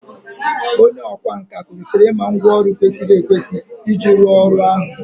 onye ọkwá nkà kwesịrị ịma ngwá ọrụ kwesịrị ekwesị iji rụọ ọrụ ahụ